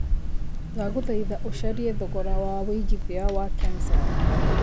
ndagũthaĩtha ũcarĩe thogora wa wĩigĩthĩa wa kencell